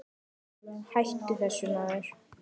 Hættu þessu maður!